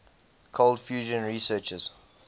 cold fusion researchers